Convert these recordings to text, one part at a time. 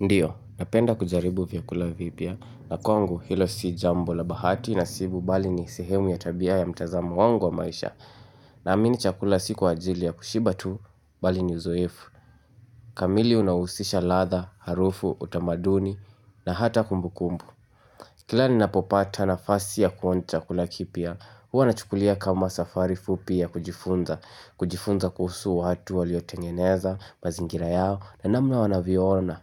Ndiyo, napenda kujaribu vyakula vipya, na kwangu hilo si jambo la bahati nasibu bali ni sehemu ya tabia ya mtazamo wangu wa maisha Naamini chakula sikwa ajili ya kushiba tu, bali ni uzoefu kamili unahusisha ladha, harufu, utamaduni, na hata kumbukumbu Kila ni napopata na fasi ya kuonja chakula kipya, huwa nachukulia kama safari fupi ya kujifunza. Kujifunza kuhusu watu waliotengeneza, mazingira yao, na namna wanavyo ona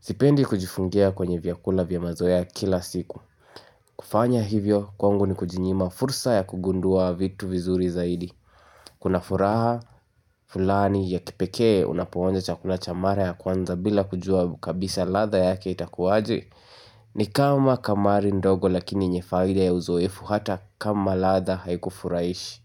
Sipendi kujifungia kwenye vyakula vya mazoea kila siku kufanya hivyo kwangu ni kujinyima fursa ya kugundua vitu vizuri zaidi Kuna furaha fulani ya kipekee unapo onja chakua cha mara ya kwanza bila kujua kabisa ladha yake itakuwaje ni kama kamari ndogo lakini yenye faida ya uzoefu hata kama ladha haikufurahishi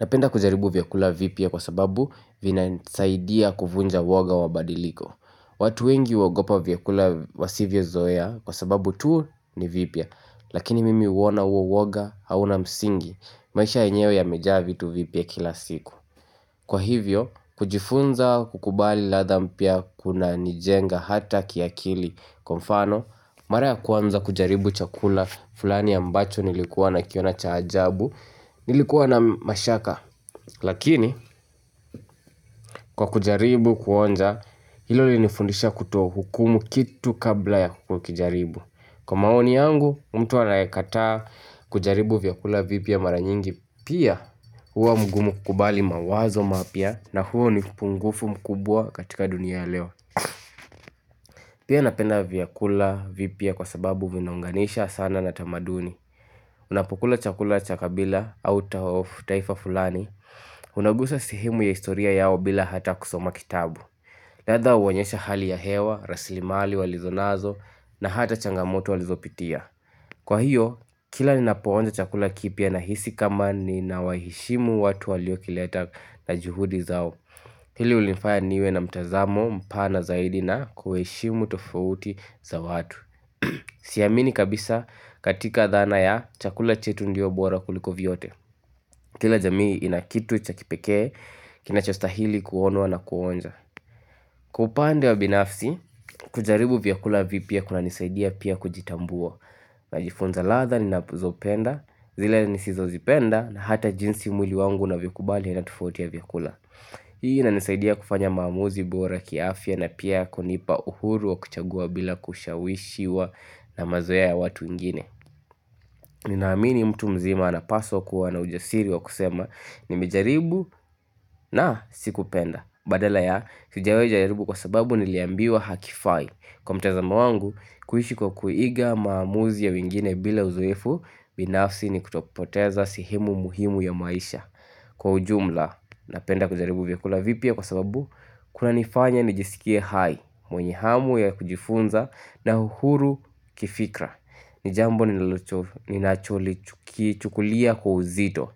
Napenda kujaribu vyakula vipya kwa sababu vinanisaidia kuvunja uwoga wa badiliko watu wengi huogopa vyakula wasivyo zoea kwa sababu tu ni vipya Lakini mimi huona huo uwoga hauna msingi maisha yenyewe yamejaa vitu vipya kila siku Kwa hivyo kujifunza kukubali ladha mpya kunanijenga hata kiakili kwa mfano Mara ya kwanza kujaribu chakula fulani ambacho nilikuwa na kiona cha ajabu nilikuwa na mashaka Lakini kwa kujaribu kuonja hilo linifundisha kutoa hukumu kitu kabla ya kukijaribu Kwa maoni yangu mtu anyekataa kujaribu vyakula vipya mara nyingi Pia huwa mgumu kukubali mawazo mapya na huo ni upungufu mkubwa katika dunia ya leo Pia napenda vyakula vipya kwa sababu vinaunganisha sana na tamaduni Unapokula chakula cha kabila au taifa fulani Unagusa sehemu ya historia yao bila hata kusoma kitabu ladha huonyesha hali ya hewa, raslimali walizonazo na hata changamoto walizopitia Kwa hiyo, kila ninapoonja chakula kipya nahisi kama nina waheshimu watu waliokileta na juhudi zao Hili hunifaya niwe na mtazamo mpana zaidi na kuheshimu tofauti za watu Siamini kabisa katika dhana ya chakula chetu ndio bora kuliko vyote Kila jamii inakitu cha kipekee, kinachostahili kuonwa na kuonja. Kwa upande wa binafsi, kujaribu vyakula vipya kuna nisaidia pia kujitambua. Najifunza ladha ninazo penda, zile nisizo zipenda, na hata jinsi mwili wangu unavyokubali na tofauti ya vyakula. Hii inanisaidia kufanya maamuzi bora kiafya na pia kunipa uhuru wa kuchagua bila kushawishiwa na mazoea ya watu wengine. Ni naamini mtu mzima anapaswa kuwa na ujasiri wa kusema nimejaribu na siku penda badala ya sijawai jaribu kwa sababu niliambiwa hakifai kwa mtazamo wangu kuishi kwa kuiga maamuzi ya wengine bila uzoefu binafsi ni kutopoteza sehemu muhimu ya maisha Kwa ujumla napenda kujaribu vyakula vipya kwa sababu Kuna nifanya nijisikie hai mwenye hamu ya kujifunza na uhuru kifikra Nijambo ninalolichukulia kwa uzito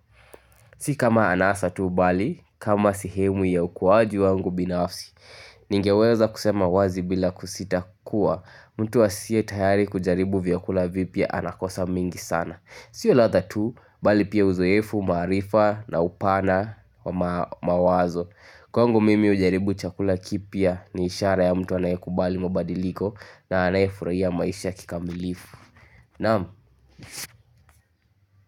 Sikama anasa tu bali, kama eihemu ya ukuaji wangu binafsi Ningeweza kusema wazi bila kusita kuwa mtu asiye tayari kujaribu vyakula vipya anakosa mengi sana Sio ladha tu, bali pia uzoefu, maarifa na upana mawazo Kwangu mimi kujaribu chakula kipya ni ishara ya mtu anayekubali mabadiliko na anayefurahia maisha kikamilivu naam.